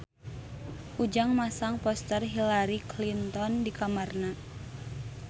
Ujang masang poster Hillary Clinton di kamarna